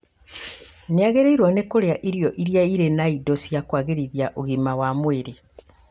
Nĩagĩrĩirwo nĩ kũrĩa irio irĩa irĩ na indo cia kwagĩrithia ũgima wa mwĩrĩ